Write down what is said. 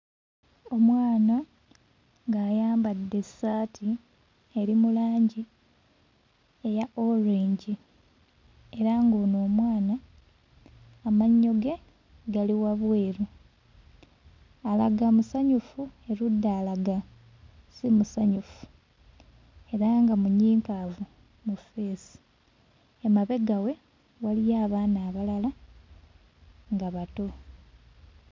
Omwana ng'ayambadde essaati eri mu langi eya orange era ng'ono omwana amannyo ge gali wabweru. Alaga musanyufu erudda alaga si musanyufu era nga munyiikaavu mu ffeesi. Emabega we waliyo abaana abalala nga bato.